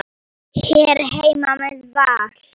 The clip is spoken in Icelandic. Hér heima með Val.